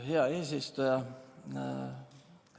Hea eesistuja!